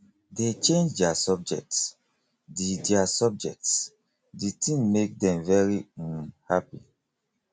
dey change their subjects the their subjects the thing make dem very um happy